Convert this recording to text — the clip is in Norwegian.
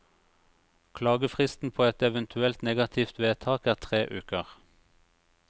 Klagefristen på et eventuelt negativt vedtak er tre uker.